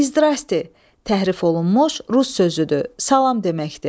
İzdra, təhrif olunmuş rus sözüdür, salam deməkdir.